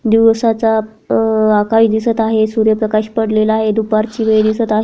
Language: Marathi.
दिवसाचा अह आकाश दिसत आहे. सूर्य प्रकाश पडलेला आहे दुपारची वेळ दिसत आहे.